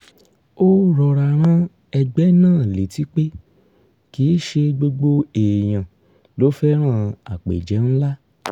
ó rọra rán ẹgbẹ́ náà létí pé kì í ṣe gbogbo èèyàn ló fẹ́ràn àpéjẹ ńlá